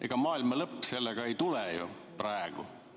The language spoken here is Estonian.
Ega maailma lõpp sellega ei tule ju praegu.